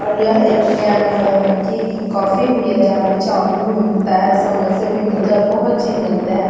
और यह एक अ अ केक की कॉफ़ी भी है जहाँ पे चौमिन भी मिलता है और समोसा भी मिलता है और बहुत चीज मिलता हैं।